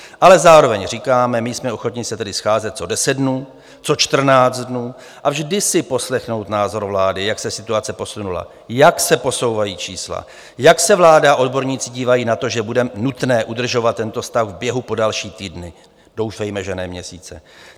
Ale zároveň říkáme: my jsme ochotni se tady scházet co deset dnů, co čtrnáct dnů a vždy si poslechnout názor vlády, jak se situace posunula, jak se posouvají čísla, jak se vláda a odborníci dívají na to, že bude nutné udržet tento stav v běhu po další týdny, doufejme, že ne měsíce.